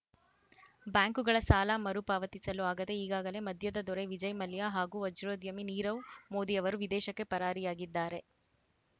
ಬ್ಯಾಂಕುಗಳ ಸಾಲ ಮರುಪಾವತಿಸಲು ಆಗದೇ ಈಗಾಗಲೇ ಮದ್ಯದ ದೊರೆ ವಿಜಯ್‌ ಮಲ್ಯ ಹಾಗೂ ವಜ್ರೋದ್ಯಮಿ ನೀರವ್‌ ಮೋದಿ ಅವರು ವಿದೇಶಕ್ಕೆ ಪರಾರಿಯಾಗಿದ್ದಾರೆ